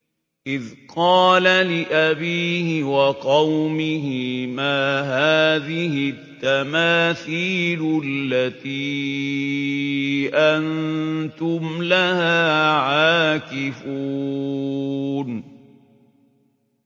إِذْ قَالَ لِأَبِيهِ وَقَوْمِهِ مَا هَٰذِهِ التَّمَاثِيلُ الَّتِي أَنتُمْ لَهَا عَاكِفُونَ